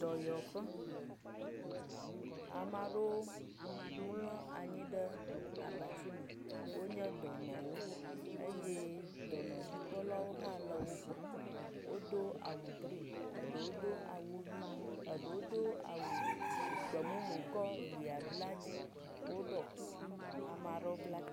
Dɔyɔƒe, ame aɖewo mlɔ anyi ɖe abatsi me. Wonye dɔnɔwo eye dɔnɔdzikpɔlawo hã le wogbɔ. Wodo awu green, eɖo do awu ʋi ɖewo do gbemumu tsɔ ʋia bla edzi.